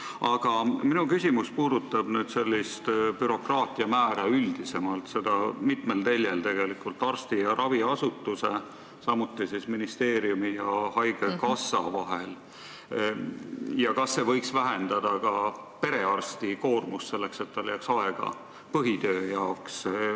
Aga minu küsimus puudutab bürokraatia määra üldisemalt, seda mitmel teljel – arsti ja raviasutuse, samuti ministeeriumi ja haigekassa vahel – ja seda, kas ei võiks vähendada ka perearsti koormust, nii et tal jääks aega põhitöö jaoks.